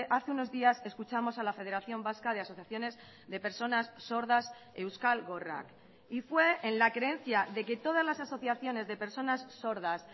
hace unos días escuchamos a la federación vasca de asociaciones de personas sordas euskal gorrak y fue en la creencia de que todas las asociaciones de personas sordas